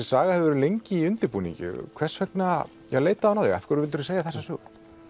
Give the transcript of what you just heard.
saga hefur verið lengi í undirbúningi hvers vegna leitaði hún á þig hvers vildirðu segja þessa sögu